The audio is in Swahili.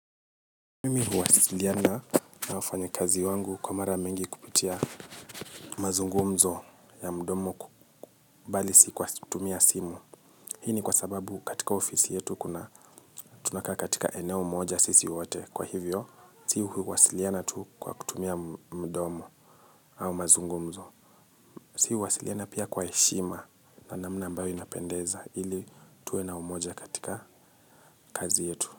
Mimi huwasiliana na wafanyikazi wangu kwa mara mingi kupitia mazungumzo ya mdomo bali si kwa tumia simu. Hii ni kwa sababu katika ofisi yetu kuna tunaka katika eneo moja sisi wote. Kwa hivyo, sisi huwasiliana tu kwa kutumia mdomo au mazungumzo. Sisi huwasiliana pia kwa heshima na namna ambayo inapendeza ili tuwe na umoja katika kazi yetu.